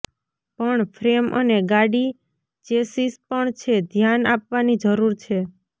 પણ ફ્રેમ અને ગાડી ચેસિસ પણ છે ધ્યાન આપવાની જરૂર છે